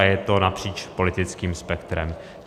A je to napříč politickým spektrem.